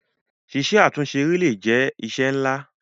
Ṣíṣe àtúnṣe eré le è jẹ́ iṣẹ́ ńlá.